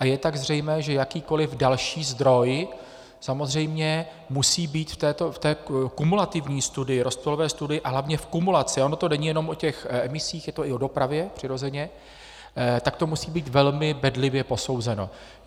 A je tak zřejmé, že jakýkoliv další zdroj samozřejmě musí být v té kumulativní studii, rozptylové studii a hlavně v kumulaci, ono to není jenom o těch emisích, je to i o dopravě, přirozeně, tak to musí být velmi bedlivě posouzeno.